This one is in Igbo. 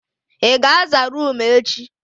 Ị ga aza roomu echi?